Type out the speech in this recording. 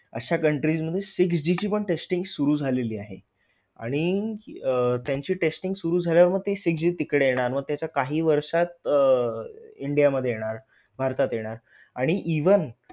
अशा countries मध्ये six G ची पण testing सुरु झालेली आहे. आणि त्यांची testing सुरु झाल्यावर ते six G तिकडे येणार मग त्याच्या काही वर्षात अह India मध्ये येणार भारतात येणार आणि even